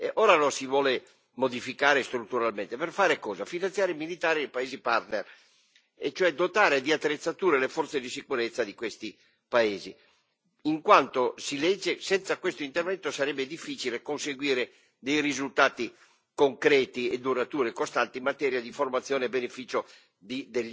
Ora lo si vuole modificare strutturalmente, per fare cosa? Finanziare i militari dei paesi partner, e cioè dotare di attrezzature le forze di sicurezza di questi paesi, in quanto si legge senza questo intervento sarebbe difficile conseguire dei risultati concreti, duraturi e costanti in materia di formazione a beneficio di